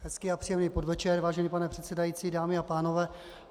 Hezký a příjemný podvečer, vážený pane předsedající, dámy a pánové.